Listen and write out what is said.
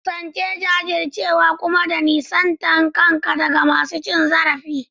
Kasance da jajircewa kuma ka nisanta kanka daga masu cin zarafi.